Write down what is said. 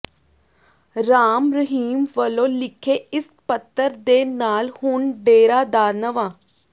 ਰਾਮ ਰਹੀਮ ਵੱਲੋਂ ਲਿਖੇ ਇਸ ਪੱਤਰ ਦੇ ਨਾਲ ਹੁਣ ਡੇਰਾ ਦਾ ਨਵਾਂ